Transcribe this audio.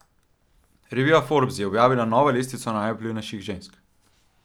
Revija Forbes je objavila novo lestvico najvplivnejših žensk.